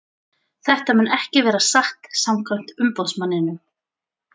Þetta mun ekki vera satt samkvæmt umboðsmanninum.